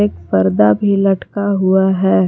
पर्दा भी लटका हुआ है।